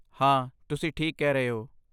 ਹਾਂ, ਤੁਸੀਂ ਠੀਕ ਕਹਿ ਰਹੇ ਹੋ।